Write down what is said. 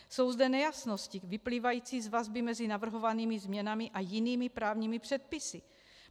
Jsou zde nejasnosti vyplývající z vazby mezi navrhovanými změnami a jinými právními předpisy.